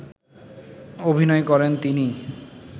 অভিনয় করেন তিনি